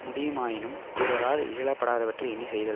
முடியுமாயினும் பிறராலிகழப்படாதவற்றை எண்ணி செய்தல்